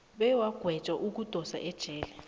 bewagwetjwa ukudosa ejele